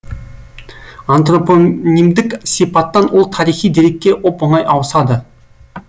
антропонимдік сипаттан ол тарихи дерекке оп оңай ауысады